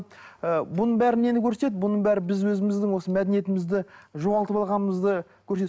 ы бұның бәрі нені көрсетеді бұның бәрі біз өзіміздің осы мәдениетімізді жоғалтып алғанымызды